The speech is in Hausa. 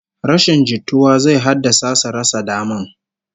Rashin jituwa zai haddasa su rasa daman